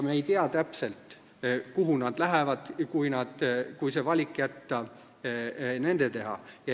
Me ei tea täpselt, kuhu nad lähevad, kui jätta valik nende teha.